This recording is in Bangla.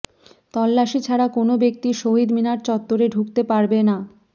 তল্লাশি ছাড়া কোনো ব্যক্তি শহীদ মিনার চত্বরে ঢুকতে পারবে না